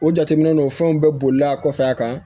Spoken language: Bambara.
O jateminɛ n'o fɛnw bɛɛ bolila kɔfɛ a kan